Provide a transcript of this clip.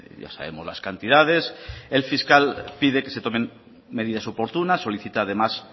ya sabemos las cantidades el fiscal pide que se tomen medidas oportunas solicita además